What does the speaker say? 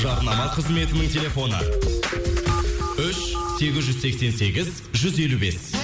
жарнама қызметінің телефоны үш сегіз жүз сексен сегіз жүз елу бес